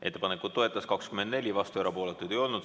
Ettepanekut toetas 24 Riigikogu liiget, vastuolijaid ja erapooletuid ei olnud.